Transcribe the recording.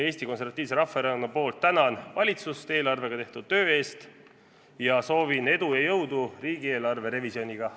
Eesti Konservatiivse Rahvaerakonna poolt tänan valitsust eelarvega tehtud töö eest ning soovin edu ja jõudu riigieelarve revisjoniga.